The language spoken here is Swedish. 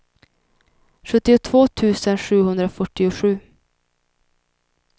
sjuttiotvå tusen sjuhundrafyrtiosju